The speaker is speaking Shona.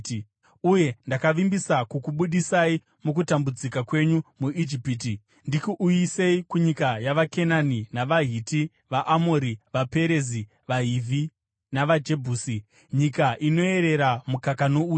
Uye ndakavimbisa kukubudisai mukutambudzika kwenyu muIjipiti ndikuisei kunyika yavaKenani, navaHiti, vaAmori, vaPerezi, vaHivhi navaJebhusi, nyika inoyerera mukaka nouchi.” ’